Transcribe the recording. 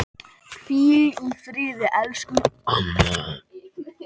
Hvíl í friði, elsku Anna.